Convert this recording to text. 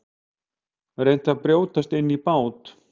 Reynt að brjótast inn í bát